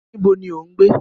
Níbo ni o ń gbé?